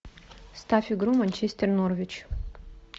ставь игру манчестер норвич